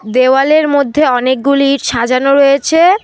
দেওয়ালের মধ্যে অনেকগুলি ইট সাজানো রয়েছে।